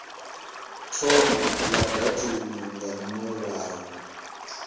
thoma la datumu nga murahu